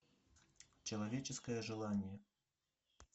человеческое желание